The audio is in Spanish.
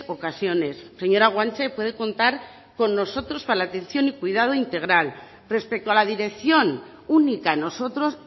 ocasiones señora guanche puede contar con nosotros para la atención y cuidado integral respecto a la dirección única nosotros